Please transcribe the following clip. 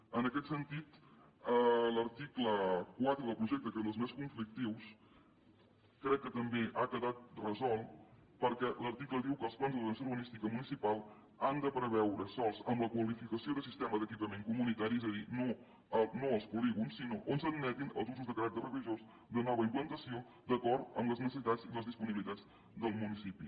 en aquest sentit l’article quatre del projecte que és dels més conflictius crec que també ha quedat resolt perquè l’article diu que els plans d’ordenació urbanística municipal han de preveure sòls amb la qualificació de sistema d’equipament comunitari és a dir no els polígons sinó on s’admetin els usos de caràcter religiós de nova implantació d’acord amb les necessitats i les disponibilitats del municipi